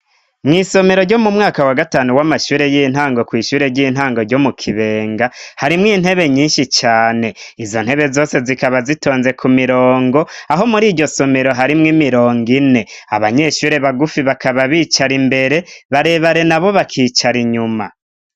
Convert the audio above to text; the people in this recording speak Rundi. mw'isomero ryo m'umwaka wagatanu w'amashure y'intango kw'ishure ry'intango ryo mukibenga harimwo intebe nyinshi cane. Izontebe zose zikaba zitonze kumirongo aho muri iryosomero harimwo imirongo ine. Abanyeshure bagufi bakaba bicara imbere barebare nabo bakicara inyuma.